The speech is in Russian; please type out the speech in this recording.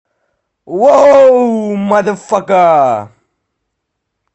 вау маза фака